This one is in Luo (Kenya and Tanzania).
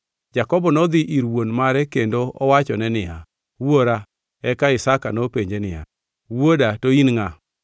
Jakobo nodhi ir wuon mare kendo owachone niya, “Wuora.” Eka Isaka nopenje niya, “Wuoda, to in ngʼa?”